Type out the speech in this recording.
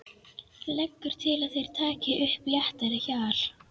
Leggur til að þeir taki upp léttara hjal.